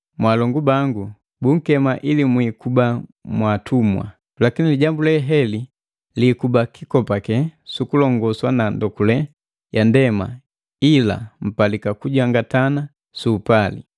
Mwaalongu bangu, bunkema ili mwiikuba mwaatumwa. Lakini lijambu leheli liikuba kikopake sukulongonswa na ndokule ya ndema ila mpalika kujangatana su upali.